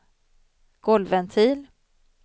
golvventil